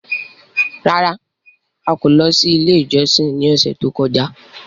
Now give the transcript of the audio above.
Rárá! A kò lọ sí ilé ìjọsìn ní ọ̀sẹ̀ tó kọjá.